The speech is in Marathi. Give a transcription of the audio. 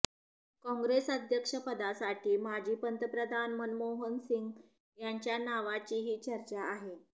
काँग्रेस अध्यक्षपदासाठी माजी पंतप्रधान मनमोहन सिंग यांच्या नावाचीही चर्चा आहे